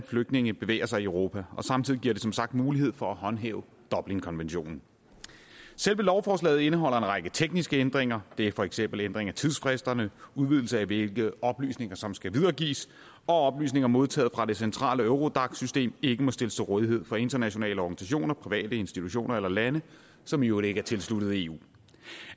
flygtninge bevæger sig i europa og samtidig giver det som sagt mulighed for at håndhæve dublinkonventionen selve lovforslaget indeholder en række tekniske ændringer det er for eksempel ændring af tidsfristerne udvidelse af hvilke oplysninger som skal videregives og at oplysninger modtaget fra det centrale eurodac system ikke må stilles til rådighed for internationale organisationer private institutioner eller lande som i øvrigt ikke er tilsluttet eu